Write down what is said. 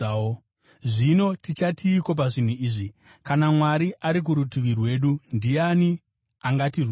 Zvino tichatiiko pazvinhu izvi? Kana Mwari ari kurutivi rwedu, ndiani angatirwisa?